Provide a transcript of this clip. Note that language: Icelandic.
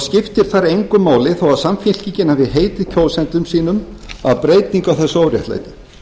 skiptir þar engu máli þó að samfylkingin hafi heitið kjósendum sínum breytingu á þessu óréttlæti